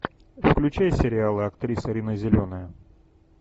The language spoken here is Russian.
включай сериалы актриса рина зеленая